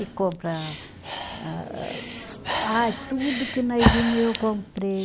E compra ah ah, ai tudo que nós vimos, eu comprei.